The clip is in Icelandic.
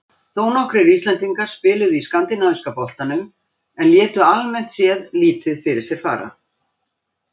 Þónokkrir Íslendingar spiluðu í Skandinavíska boltanum en létu almennt séð lítið fyrir sér fara.